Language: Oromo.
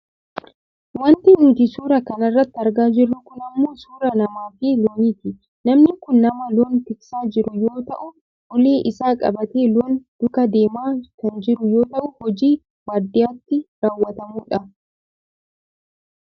wanti nuti suuraa kana irratti argaa jirru kun ammoo suuraa namaafi looniiti. namni kun nama loon tiksaa jiru yoo ta'u ulee isaa qabatee loon duukaa deemaa kan jiru yoo ta'u hojii baadiyyaatti raawwatamudha.